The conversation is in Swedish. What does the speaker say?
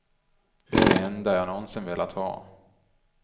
Det är det enda jag någonsin velat ha.